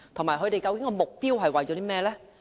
此外，計劃的目標是甚麼呢？